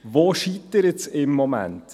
Woran scheitert es im Moment?